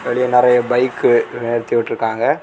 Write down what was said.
வெளிய நெறைய பைக் நிறுத்தி விட்ருக்காங்க.